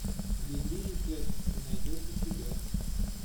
лили и кэт ты найдешь у себя